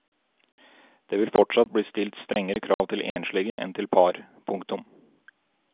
Det vil fortsatt bli stilt strengere krav til enslige enn til par. punktum